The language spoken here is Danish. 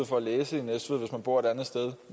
for at læse i næstved hvis man bor et andet sted